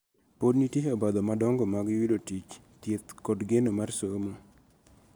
Podi nitie obadho madongo mag yudo tich, thieth, kod geno mar somo.